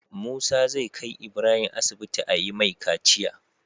Musa zai kai Ibrahim asibiti ayi mai kaciya